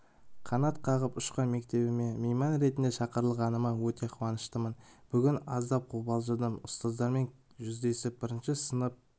қанат қағып ұшқан мектебіме мейман ретінде шақырылғаныма өте қуаныштымын бүгін аздап қобалжыдым ұстаздармен жүздесіп бірінші сынып